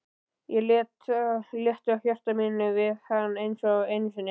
Ég létti á hjarta mínu við hann einsog einu sinni.